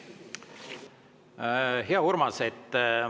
Hea Urmas!